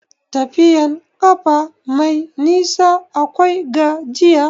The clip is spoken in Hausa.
Tafiyan ƙafa mai nisa akwai gajiya.